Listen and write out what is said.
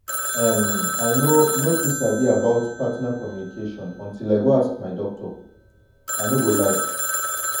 em i no no too sabi about partner communication until i go ask my doctor i no go lie